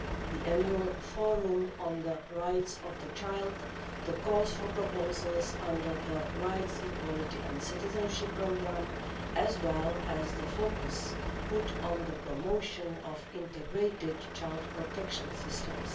the annual forum on the rights of the child, the calls for proposals under the rights, equality and citizenship programme, as well as the focus put on the promotion of integrated child protection systems.